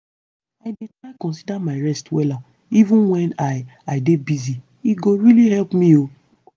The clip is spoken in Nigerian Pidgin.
i dey try consider my rest wella even wen i i dey busy- e go really help me o.